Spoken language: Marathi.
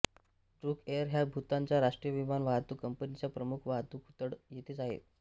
ड्रुक एअर ह्या भूतानच्या राष्ट्रीय विमान वाहतूक कंपनीचा प्रमुख वाहतूकतळ येथेच आहे